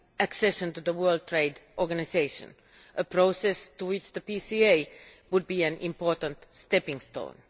accession to the World Trade Organisation, a process to which the PCA would be an important stepping stone.